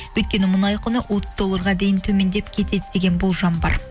өйткені мұнай құны отыз долларға дейін төмендеп кетеді деген болжам бар